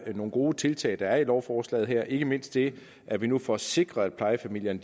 nogle gode tiltag der er i lovforslaget her ikke mindst det at vi nu får sikret at plejefamilierne